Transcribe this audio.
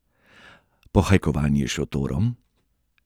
Pohajkovanje s šotorom?